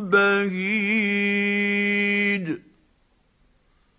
بَهِيجٍ